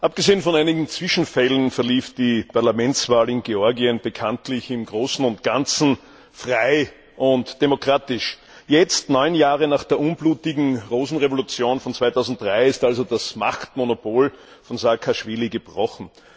Abgesehen von einigen Zwischenfällen verlief die Parlamentswahl in Georgien im Großen und Ganzen frei und demokratisch. Jetzt, neun Jahre nach der unblutigen Rosenrevolution im Jahr 2003, ist das Machtmonopol von Saakaschwili gebrochen.